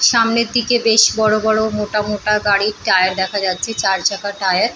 সামনের দিকে বেশ বড় বড় মোটা মোটা গাড়ির টায়ার দেখা যাচ্ছে চার চাকার টায়ার --